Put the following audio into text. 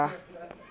re a thaba ha ho